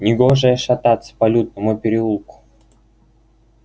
негоже шататься по лютному переулку